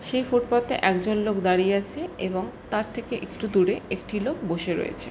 সে footpath - এ একজন লোক দাঁড়িয়ে আছে এবং তার থেকে একটু দূরে একটি লোক বসে রয়েছে ।